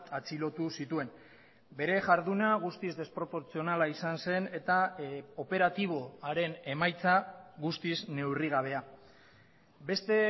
atxilotu zituen bere jarduna guztiz desproportzionala izan zen eta operatibo haren emaitza guztiz neurri gabea beste